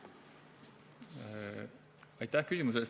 Aitäh küsimuse eest!